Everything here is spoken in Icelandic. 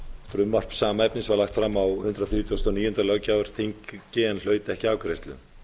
frumvarp sama efnis var lagt fram á hundrað þrítugasta og níunda löggjafarþingi en hlaut ekki afgreiðslu